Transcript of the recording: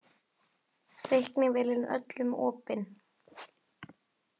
Reiknivélin öllum opin